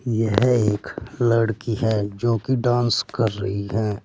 यह एक लड़की है जो कि डांस कर रही है।